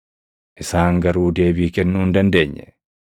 Isaan garuu deebii kennuu hin dandeenye.